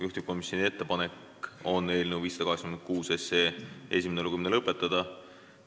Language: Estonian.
Juhtivkomisjoni ettepanek on eelnõu 586 esimene lugemine lõpetada.